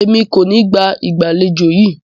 Emi ko ni gba igbaalejò yi